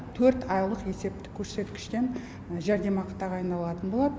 төрт айлық есептік көрсеткіштен жәрдемақы тағайындалатын болады